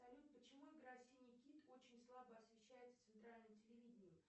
салют почему игра синий кит очень слабо освещается центральным телевидением